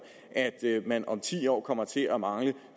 at man om ti år kommer til at mangle